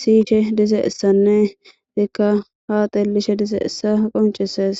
siyishe dizeessanne itikka haaxelishe dizeessa qoncesees